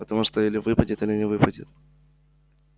потому что или выпадет или не выпадет